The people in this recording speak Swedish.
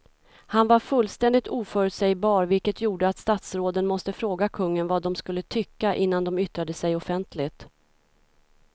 Han var fullständigt oförutsägbar vilket gjorde att statsråden måste fråga kungen vad de skulle tycka innan de yttrade sig offentligt.